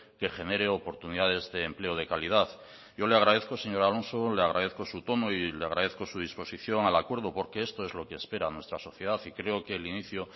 que genere oportunidades de empleo de calidad yo le agradezco señor alonso le agradezco su tono y le agradezco su disposición al acuerdo porque esto es lo que espera nuestra sociedad y creo que el inicio